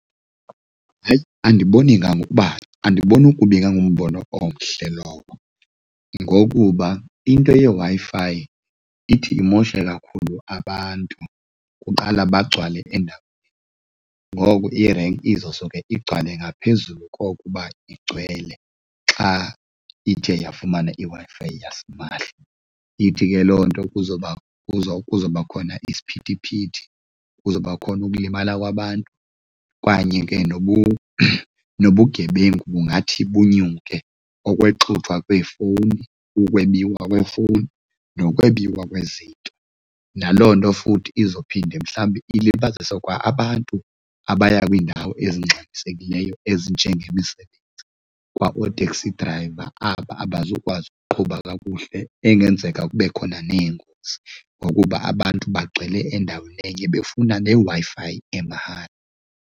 Hayi, andiboni kangangokuba andiboni ukuba ingangumbono omhle lowo ngokuba into yeWi-Fi ithi imoshe kakhulu abantu. Kuqala bagcwale endaweni ngoku irenki izo soke igcwale ngaphezulu kokuba igcwele xa ithe yafumana iWi-Fi yasimahla. Ithi ke loo nto kuzoba kuzoba khona isiphithiphithi, kuzoba khona ukulimala kwabantu kanye ke nobugebengu kungathi bunyuke, okwexuthwa kweefowuni, ukwebiwa kweefowuni nokwembiwa kwezinto. Naloo nto futhi izophinde mhlawumbe ilibazisa kwa-abantu abaya kwiindawo ezingxamisekileyo ezinje ngemisebenzi, kwaoo-taxi driver aba abazukwazi uqhuba kakuhle. Engenzeka kube khona neengozi ngokuba abantu bagxile endaweni enye befuna le Wi-Fi emahala.